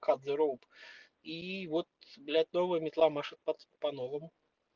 кат зе роуп ии вот блять новая метла машет пат по-новому